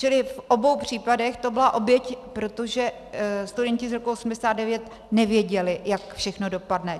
Čili v obou případech to byla oběť, protože studenti z roku 1989 nevěděli, jak všechno dopadne.